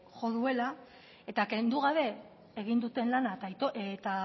jo duela eta kendu gabe egin duten lanak eta